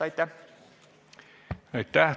Aitäh!